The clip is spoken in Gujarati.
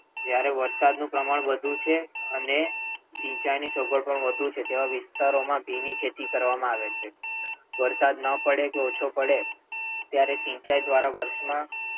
જ્યાં વરસાદ નું પ્રમાણ વધુ છે અને સિંચાઈ ની સગવડ વધુ છે તેવા વિસ્તારો માં ભીની ખેતી કરવામાં આવે છે. વરસાદ ના પડે કે ઓછો પડે ત્યારે સિંચાઈ દ્વારા વર્ષ માં,